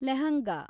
lehenga